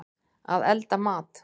Að elda mat.